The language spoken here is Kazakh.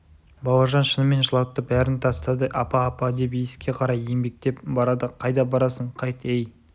бауыржан шынымен жылапты бәрін тастады апа апа деп есікке қарай еңбектеп барады қайда барасың қайт ей